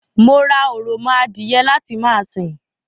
Mo ra òròmọ adìye láti ma sìn